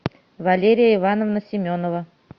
валерия ивановна семенова